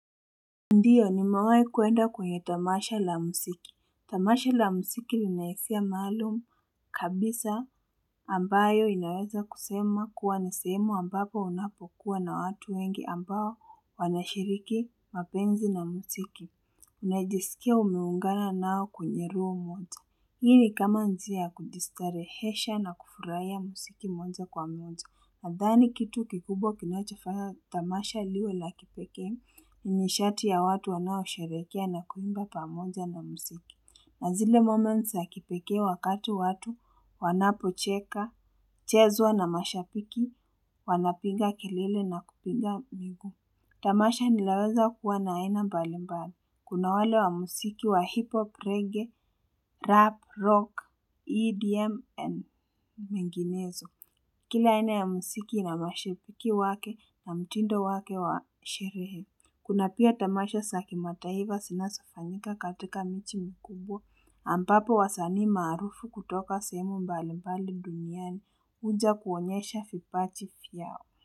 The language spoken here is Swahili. Ndiyo nimewhai kuenda kwenye tamasha la muziki. Tamasha la muziki lina hisia maalum kabisa ambayo inaweza kusema kuwa ni sehemu ambapo unapokuwa na watu wengi ambao wanashiriki mapenzi na muziki. Unajisikia umeungana nao kwenye room moja. Hii ni kama njia kujistarehesha na kufurahia musiki moja kwa moja. Nadhani kitu kikubwa kinachofanya Tamasha liwe la kipeke. Nishati ya watu wanaosheherekea na kuimba pamoja na musiki. Na zile moments ya kipekee wakati watu wanapocheka. Chezwa na mashapiki. Wanapinga kelele na kupinga miguu. Tamasha linaweza kuwa na aina mbalimbali. Kuna wale wa musiki wa hip-hop, reggae, rap, rock, EDM, and minginezo. Kila aina ya musiki ina mashepiki wake na mtindo wake wa sherehe. Kuna pia tamasha sa kimataiva sinasofanyika katika michi mkubwa. Ambapo wasanii maarufu kutoka sehemu mbalimbali duniani uja kuonyesha fipachi fyao.